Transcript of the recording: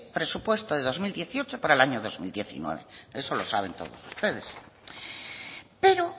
presupuesto del dos mil dieciocho para el año dos mil diecinueve eso lo saben todos ustedes pero